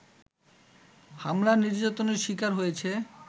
হামলা-নির্যাতনের শিকার হয়েছে